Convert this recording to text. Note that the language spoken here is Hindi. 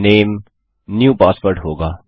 नामे न्यू पासवर्ड होगा